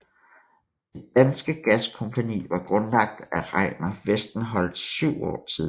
Det Danske Gaskompagni var grundlagt af Regnar Westenholz syv år tidligere